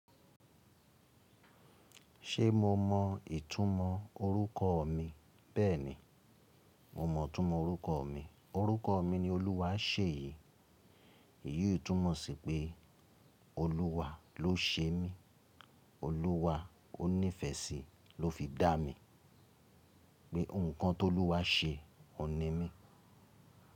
Ṣe mo mọ ìtumọ̀ orúkọ mi? Bẹ́ẹ̀ni, mo mọ ìtumọ̀ orúkọ mi. Òrúkọ mi ni Olúwa ṣe yìí. Èyí ìtumọ̀ sí pé Olúwa ló ṣe mí. Olúwa ó nífẹsí ló fi dá mi. Pé nǹkan tó Olúwa ṣe òun ní mí.